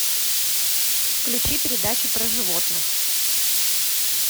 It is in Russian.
включи передачу про животных